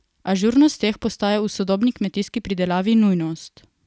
Ažurnost teh postaja v sodobni kmetijski pridelavi nujnost.